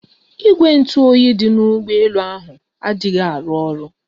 Ìgwè ntụ oyi dị na ụgbọ elu ahụ adịghị arụ oru